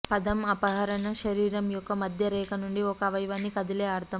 పదం అపహరణ శరీరం యొక్క మధ్య రేఖ నుండి ఒక అవయవాన్ని కదిలే అర్థం